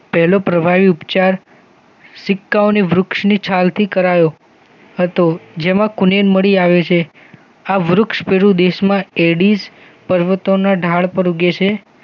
પેલો પ્રવાહી ઉપચાર સિક્કાઓની વૃક્ષની છાલથી કરાયો હતો જેમાં કુનેન મળી આવે છે. આ વૃક્ષ પેરુ દેશમાં એડિશપર્વતોના ઢાળ પર ઉગે છે